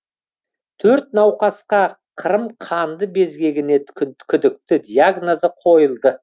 төрт науқасқа қырым қанды безгегіне күдікті диагнозы қойылды